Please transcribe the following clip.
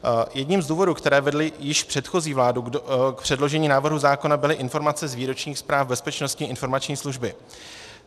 Jedním z důvodů, které vedly již předchozí vládu k předložení návrhu zákona, byly informace z výročních zpráv Bezpečnostní informační služby.